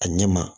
A ɲɛ ma